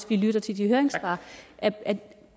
vi lytter til de høringssvar